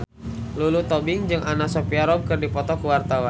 Lulu Tobing jeung Anna Sophia Robb keur dipoto ku wartawan